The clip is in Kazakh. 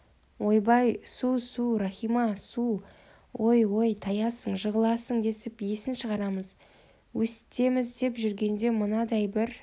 ойбай су-су иахима су ой ой таясың жығыласың десіп есін шығарамыз өстеміз деп жүргенде мынадай бір